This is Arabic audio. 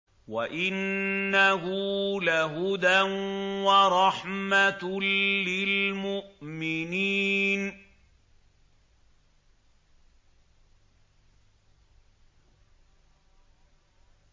وَإِنَّهُ لَهُدًى وَرَحْمَةٌ لِّلْمُؤْمِنِينَ